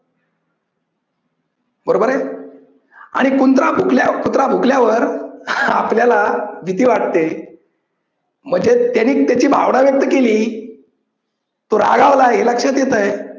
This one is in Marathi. बरोबर आहे आणि कुंत्रा भूकल्याव कुत्रा भूकल्यावर आपल्याला भीती वाटते म्हणजेच त्याने त्याची भावना व्यक्त केली तो रागावलाय हे लक्षात येतंय